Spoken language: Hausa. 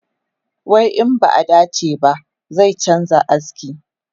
Wai in ba a dace ba, zai canza aski.